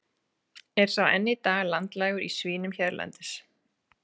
Er sá enn í dag landlægur í svínum hérlendis.